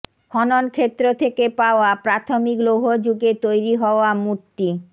খনন ক্ষেত্র থেকে পাওয়া প্রাথমিক লৌহ যুগে তৈরি হওয়া মূর্তি